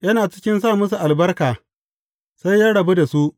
Yana cikin sa musu albarka, sai ya rabu da su.